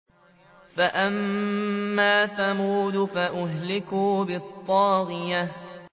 فَأَمَّا ثَمُودُ فَأُهْلِكُوا بِالطَّاغِيَةِ